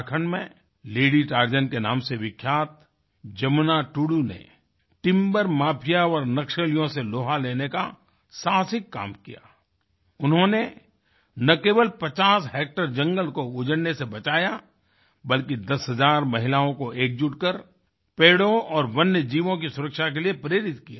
झारखण्ड में lady Tarzan के नाम से विख्यात जमुना टुडू ने टिम्बर माफिया और नक्सलियों से लोहा लेने का साहसिक काम किया उन्होंने न केवल 50 हेक्टेयर जंगल को उजड़ने से बचाया बल्कि दस हज़ार महिलाओं को एकजुट कर पेड़ों और वन्यजीवों की सुरक्षा के लिए प्रेरित किया